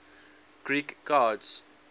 greek gods